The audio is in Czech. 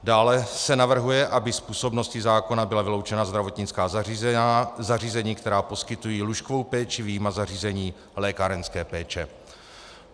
Dále se navrhuje, aby z působnosti zákona byla vyloučena zdravotnická zařízení, která poskytují lůžkovou péči, vyjma zařízení lékárenské péče.